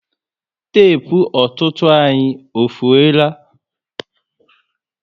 Tepu ọtụtụ anyị efuola